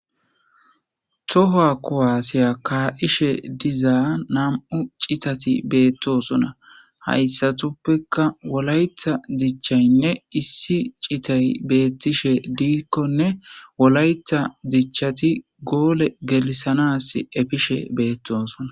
toha kowaasiya ka7ishe dizaa nam7u citati beettosona hayssatuppeka wolayta dichchaynne issi citay beettishe diikkonne wolayta dichchati goole gelisanas efishe beettosona